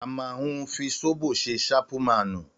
Àmà hún fi Ṣọ́bò sẹ sàpúmànú